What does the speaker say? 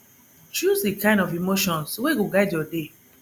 choose di kind of emotions wey go guide yur day